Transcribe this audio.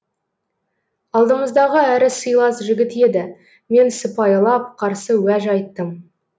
алдымыздағы әрі сыйлас жігіт еді мен сыпайылап қарсы уәж айттым